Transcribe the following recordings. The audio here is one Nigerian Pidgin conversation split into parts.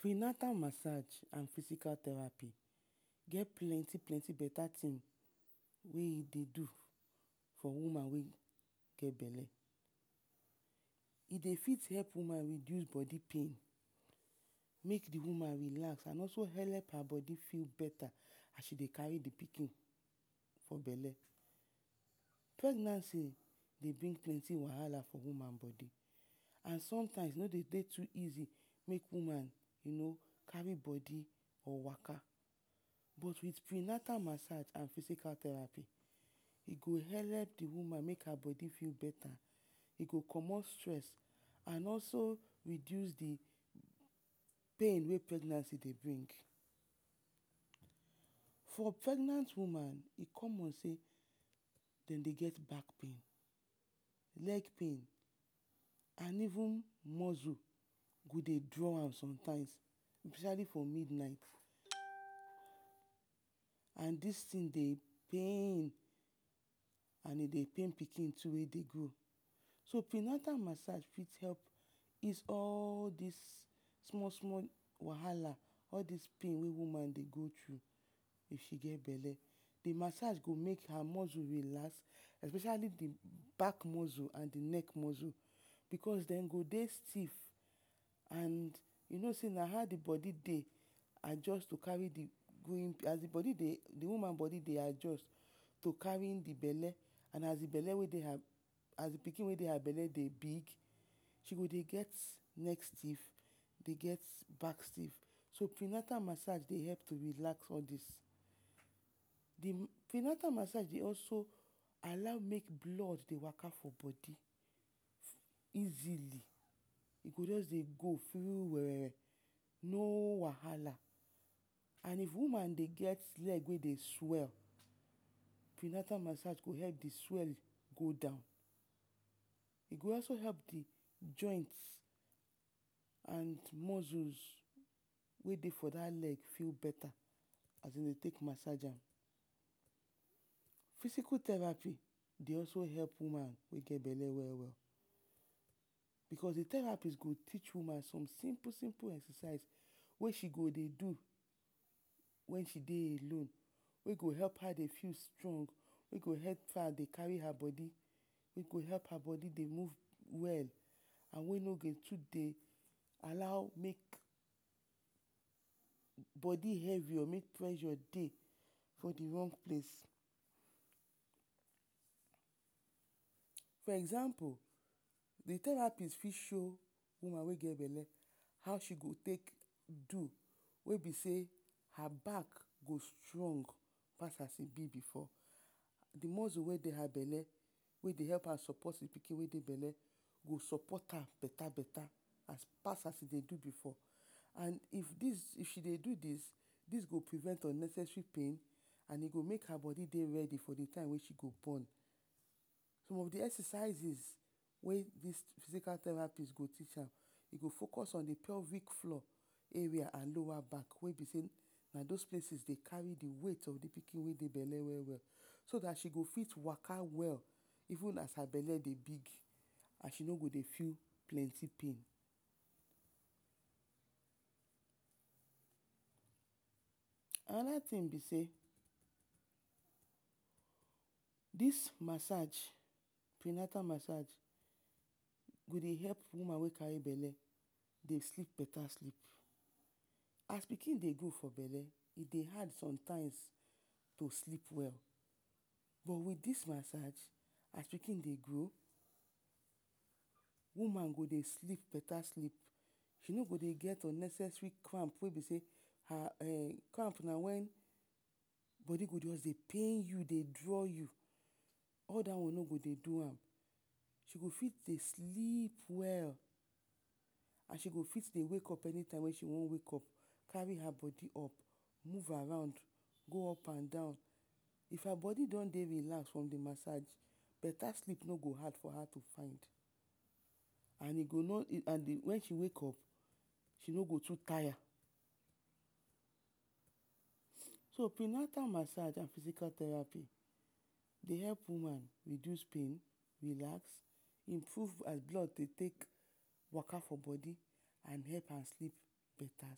Pre-natal masaj and fisical theraphy get penti-plenti tin wey e dey do for woman wey get bele. E dey fit help woman reduce bodi pain, make the woman relax and also help her bodi feel ok as she dey kari the pikin for bele. Pregnancy dey bring plenty wahala for woman bodi and sometimes e no de dey easy, you no? make woman kari bodi or waka but with pre-natal masaj or fisical theraphy, e go helep the woman make her bodi dey beta. E go comot stress and also reduce the pain wey pregnancy dey bring. For pregnant woman e common sey, dem dey get bak pain, leg pain and even muscle go dey draw am sometimes. Especiali for midnight. And dis tin dey pain and e dey pain pikin wey dey grow. So pre-natal masaj fit help ease all dis small-small wahala, all dis pain wey woman dey go thrue if she get bele. The masaj go make her mozu relax especiali the bak mozu and the neck mozu because dem go dey stiff you no sey na how the bodi dey adjust to kari, the woman body dey adjust to kari the bele and as thwe pikin wey dey her bele dey big, she go dey get nek stif dey get bak stif. Sp pre-natal masaj dey help to relax all dis. Pre-natal masaj dey also allow mey blood dey waka for bodi easily. E go just dey go um no wahala. And if woman dey get leg wey dey swell, pre-natal masaj go help the swell go down, e go also help the joint and mozus wey dey for dat leg feel beta as e dey take masaj am. Fisical theraphy dey also help woman wey get bele we-we, because the theraphy go teach woman some simpl-simple exercise wey she go dey do wen she dey alone. Wey gohelp her dey feel strong, wey she go fit kari her bodi wey go help her dey move well and wey no dey too dey allow make bodi hevi or make pressure dey for the rong place. For example, the theraphy fit show woman wey get bele, how she go take do wey be sey her back go strong pas as e be before, the mozu wey dey her bele wey dey sopot the pikin wey dey bele go sopot am beta-beta. As pas as e dey do before. And if she dey do dis, dis go prevent unnecessary pain and e go make her bodi dey readi for the time wey she go bon. Som of the exercises wey fisical theraphy go teach am, e go focus on the pelvic floor area and lower bak, wey be sey na dos places dey kari the weight pf the pikin wey dey bele we-we. So dat she go fit waka well, even as her bele dey big and she no go dey feel plenti pain. Anoda tin be sey, dismasaj, pre-natal masaj, go dey help woman wey kari bele dey sleep beta sleep, as pikin dey grow for bele, e dey hard sometimes to sleep well. But with dis masaj as pikin dey grow, woman go dey sleep beta sleep she no go get unnecessary cramp wey be sey……? and cramp na wen be sey bodi go just dey pain you, dey draw you, all dat one no go dey do am. She go fit dey sleep well and she go fit dey wake up anytime wey she wan wake up. Kari her bodi up, move around, move up and down, if her bodi don dey relax for the mata……… beta sleep no go hard for her to come and wen she wake up, she no go too taya. So pre-natal masaj and fisical theraphy dey help womn reduce pain, relax, improve how blood dey take waka for bodi and help am sleep beta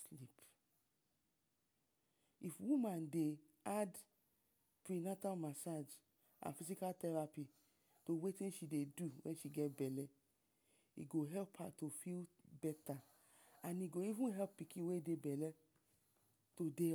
sleep. If woman dey add pre-natal masaj and fisical theraphy to wetin she dey do get bele, e go help her dey feel beta and e go even help pikin wey dey bele to dey alright.